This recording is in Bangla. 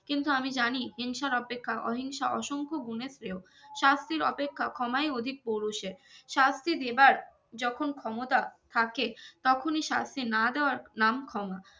কিন্তু আমি জানি হিংসার অপেক্ষা অহিংসা অসংখ্য গুনের শ্রেয় শাস্তির অপেক্ষা ক্ষমাই অধিক পুরুষের শাস্তি দেবার যখন ক্ষমতা থাকে তখনই শাস্তি না দেওয়ার নাম ক্ষমা